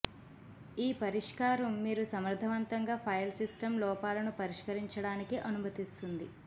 ఈ పరిష్కారం మీరు సమర్థవంతంగా ఫైల్ సిస్టమ్ లోపాలను పరిష్కరించడానికి అనుమతిస్తుంది